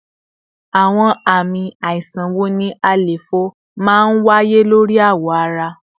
Awọn ami aisan wo ni àléfọ maa n waye lori awọ ara?